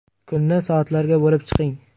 Kunni soatlarga bo‘lib chiqing.